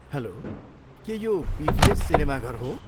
Hello, के यो PVS सिनेमाघर हो?